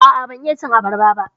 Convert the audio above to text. A'a, ban iya cin abarba ba.